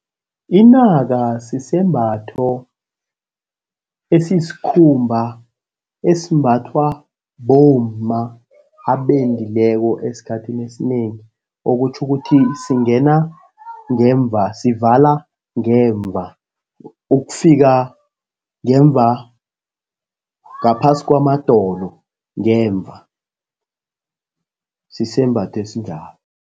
Inaka sisembatho esisikhumba esimbathwa bomma abendileko esikhathini esinengi, okutjho ukuthi singena ngemva, sivala ngemva ukufika ngemva, ngaphasi kwamadolo ngemva. Sisembatho esinjalo.